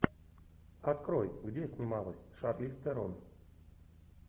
открой где снималась шарлиз терон